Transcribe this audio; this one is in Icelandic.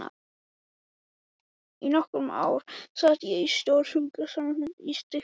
Í nokkur ár sat ég í stjórn sjúkrasamlagsins í Stykkishólmi.